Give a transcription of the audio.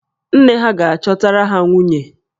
Nne ha ga-achọtara ha nwunye